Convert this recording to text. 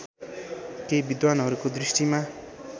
केही विद्धानहरूको दृष्टिमा